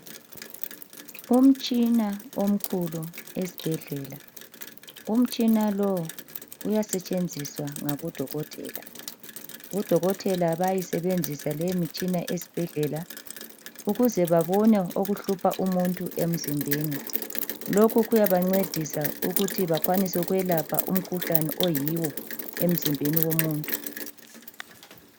Umtshina omkhulu esbhedlela, umtshina lo uyasetshenziswa ngabodokotela. Odokotela bayisebenzisa lemitshina esbhedlela ukuze babone okuhlupha umuntu emzimbeni lokhu kuyabancedisa ukuthi bakwanise ukwelapha umkhuhlane oyiwo emzimbeni womuntu.